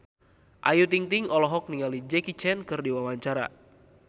Ayu Ting-ting olohok ningali Jackie Chan keur diwawancara